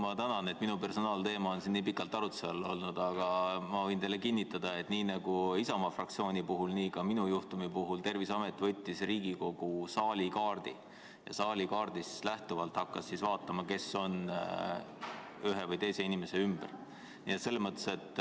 Ma tänan, et minu personaalteema on siin nii pikalt arutluse all olnud, aga ma võin teile kinnitada, et nii nagu Isamaa fraktsiooni puhul, nii ka minu juhtumi puhul Terviseamet võttis ette Riigikogu saali kaardi ja hakkas sellest lähtuvalt vaatama, kes on ühe või teise inimese lähedal.